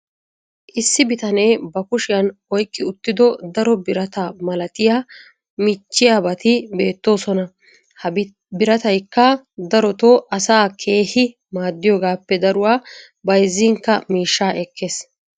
issi bitanee ba kushiyan oyqqi uttido daro birata malattiya michchiyaabati beetoosona. ha birattaykka darotoo asaa keehi maadiyoogaappe daruwa bazzinkka miishshaa ekkees.